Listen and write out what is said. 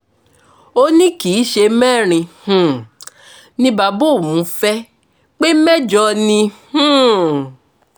ó ní kì í ṣe mẹ́rin um ni bàbá òun fẹ́ pé mẹ́jọ ni um